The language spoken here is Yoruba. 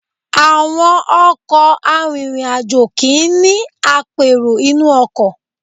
Àwọn ọkọ̀ arìnrìn-àjò kì í ní apèrò inú ọkọ̀.